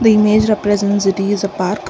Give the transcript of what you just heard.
image represents it is a park.